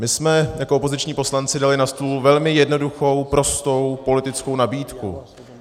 My jsme jako opoziční poslanci dali na stůl velmi jednoduchou, prostou politickou nabídku.